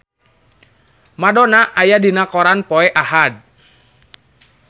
Madonna aya dina koran poe Ahad